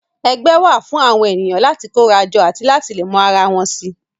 Ẹgbẹ́ wà fún àwọn ènìyàn láti kóra jọ àti láti lè mọ ara wọn si